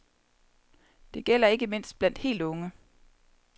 Det gælder ikke mindst blandt helt unge.